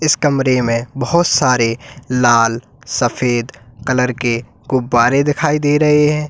इस कमरे में बहुत सारे लाल सफेद कलर के गुब्बारे दिखाई दे रहे हैं।